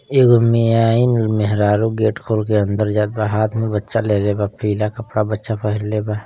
एगो मियाइन मेहरारू गेट खोलके अंदर जात बा। हाथ में बच्चा लेले बा पीला कपड़ा बच्चा पहनले बा।